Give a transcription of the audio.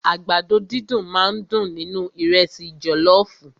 Àgbàdo dídùn máà ń dùn nínú ìrẹ́sì jọlọọfu.